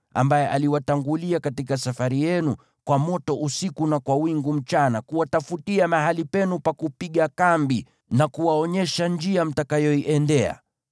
ambaye aliwatangulia katika safari yenu, kwa moto usiku na kwa wingu mchana, kuwatafutia mahali penu pa kupiga kambi na kuwaonyesha njia mtakayoiendea.